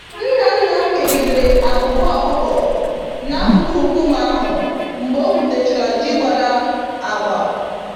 Nna nna m kegidere abụba ọkụkọ n'akụkụ nkume ahụ mgbe o gwutachara ji gbàrà agba